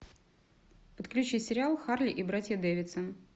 подключи сериал харли и братья дэвидсон